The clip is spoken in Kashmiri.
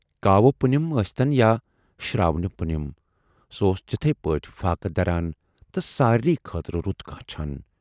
کاوٕ پُنِم ٲسۍتَن یا شراونہِ پُنِم، سُہ اوس تِتھٕے پٲٹھۍ فاقہٕ دَران تہٕ سارِنٕے خٲطرٕ رُت کانچھان۔